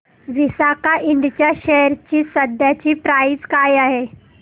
Visaka Ind च्या share ची सध्याची प्राइस काय आहे